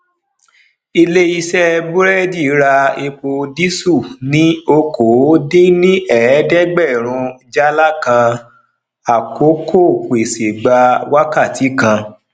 ilé iṣé burẹdi ra èpo diesel ni okoodinnieedegberun jala kan àkókò pèsè gba wákàtí kan